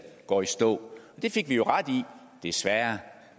går i stå det fik vi jo ret i desværre